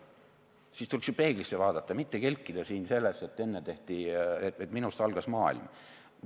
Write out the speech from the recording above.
Siis tuleks ju peeglisse vaadata ja mitte kelkida siin selles, et enne tehti nii, aga minust algas maailm.